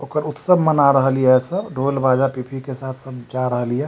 ओकर उत्सव मना रहल ये सब ढोल बाजा पिपी के साथ सब जा रहल ये --